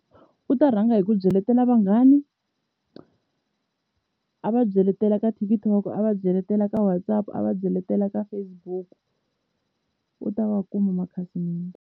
U ta rhanga hi ku byeletela vanghana, a va byeletela ka TikTok, a va byeletela ka WhatsApp a va byeletela ka Facebook u ta va kuma makhasimende.